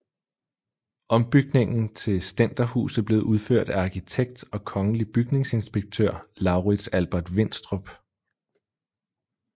Ombygningen til stænderhuset blev udført af arkitekt og kongelig bygningsinspektør Laurits Albert Winstrup